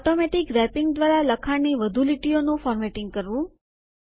automatic wrapping દ્વારા લખાણની વધુ લીટીઓનું ફોર્મેટિંગ કરવું